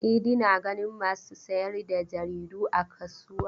Idi na ganin masu sayar da jaridu a kasuwa.